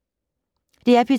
DR P3